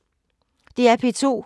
DR P2